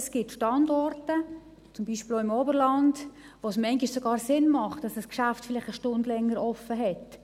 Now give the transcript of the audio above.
Es gibt Standorte – beispielsweise im Oberland –, wo es manchmal sogar Sinn macht, dass ein Geschäft vielleicht eine Stunde länger geöffnet hat.